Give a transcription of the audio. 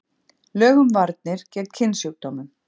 Lög um varnir gegn kynsjúkdómum.